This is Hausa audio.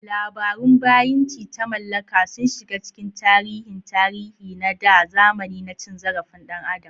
Labarun bayinci ta mallaka sun shiga cikin tarihin tarihi da na zamani na cin zarafin ɗan adam.